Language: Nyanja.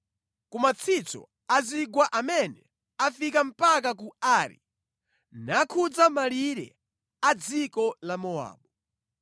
ku matsitso a zigwa amene afika mpaka ku Ari nakhudza malire a dziko la Mowabu.”